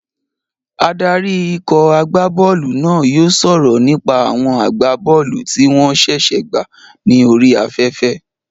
Adarí ikọ̀ agbá bọ́ọ̀lù náà yóò sọ̀rọ̀ nípa àwọn agbá bọ́ọ̀lù tí wọ́n ṣẹ̀ṣẹ̀ gbà ní orí afẹ́fẹ́